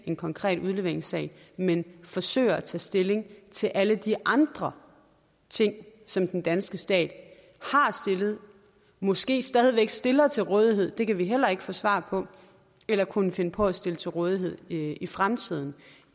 en konkret udleveringssag men forsøger at tage stilling til alle de andre ting som den danske stat har stillet måske stadig stiller til rådighed det kan vi heller ikke få svar på eller kunne finde på at stille til rådighed i i fremtiden